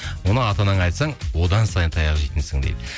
оны ата анаңа айтсаң одан сайын таяқ жейтінсің дейді